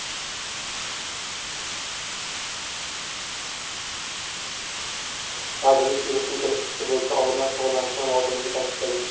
Vazirlik virusning kelib chiqishi bo‘yicha olimlar shug‘ullanishi lozimligini ta’kidlagan .